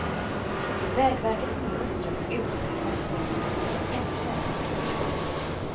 Vägverket får nu i uppdrag att utreda hur taxametrarna kan göras ännu säkrare.